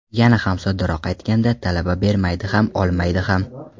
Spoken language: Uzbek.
Yana ham soddaroq aytganda, talaba bermaydi ham olmaydi ham.